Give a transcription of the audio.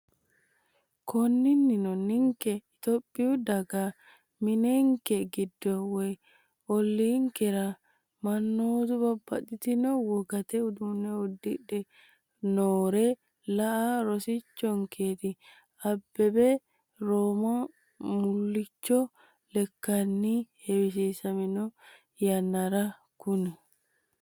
Konninnino ninke Itophiyu daga mininke giddo woy olliinkera mannootu babbaxxitino wogate uduunne uddidhe noore la”a rosaminorichooti, Abbebe Roomaho mullicho lekkanni heewisamino yannara konni?